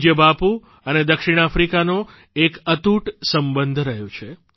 પૂજય બાપુ અને દક્ષિણ આફ્રિકાનો એક અતૂટ સંબંધ રહ્યો છે